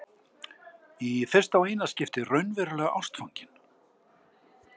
Í fyrsta og eina skiptið raunverulega ástfangin.